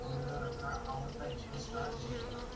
दोन हजार आठ अठरा आवडता जिंकला